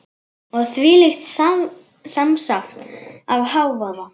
Og þvílíkt samsafn af hávaða.